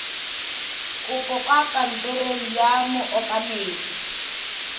kopo kwa kantorong ya mookamedi